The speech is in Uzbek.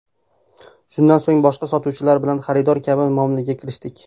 Shundan so‘ng boshqa sotuvchilar bilan xaridor kabi muomalaga kirishdik.